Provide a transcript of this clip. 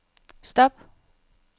stop